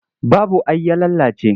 Babu ai ya lalace.